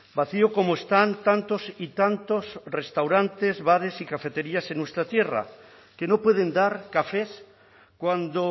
vacío como están tantos y tantos restaurantes bares y cafeterías en nuestra tierra que no pueden dar cafés cuando